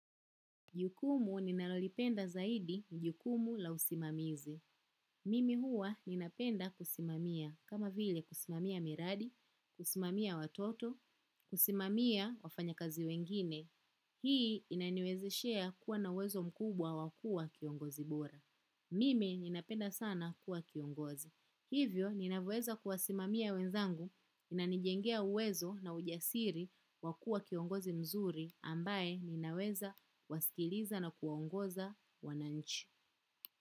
Jukumu ninalolipenda zaidi ni jukumu la usimamizi. Mimi huwa ninapenda kusimamia kama vile kusimamia miradi, kusimamia watoto, kusimamia wafanya kazi wengine. Hii inaniwezeshea kuwa na uwezo mkubwa wakuwa kiongozi bora. Mimi ninapenda sana kuwa kiongozi. Hivyo, ninaweza kuwasimamia wenzangu, inanijengea uwezo na ujasiri wakua kiongozi mzuri ambaye ninaweza kuwasikiliza na kuongoza wananchi.